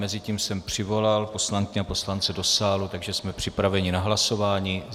Mezitím jsem přivolal poslankyně a poslance do sálu, takže jsme připraveni na hlasování.